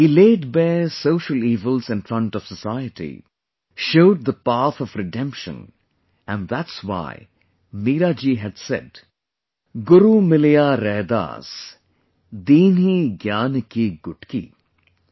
He laid bare social evils in front of society, showed the path of redemption; and that's why Meera ji had said, 'GURU MILIYA RAIDAS, DEENHI GYAAN KI GUTKI' |